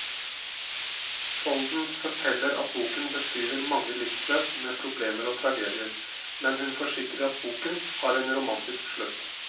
Skjolden forteller at boken beskriver mange livsløp med problemer og tragedier, men hun forsikrer at boken har en romantisk slutt.